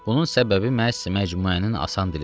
Bunun səbəbi məhz məcmuənin asan dilidir.